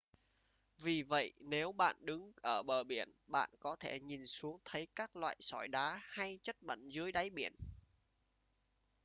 vì vậy nếu bạn đứng ở bờ biển bạn có thể nhìn xuống thấy các loại sỏi đá hay chất bẩn dưới đáy biển